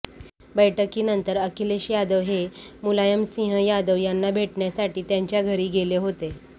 बैठकीनंतर अखिलेश यादव हे मुलायमसिंह यादव यांना भेटण्यासाठी त्यांच्या घरी गेले होते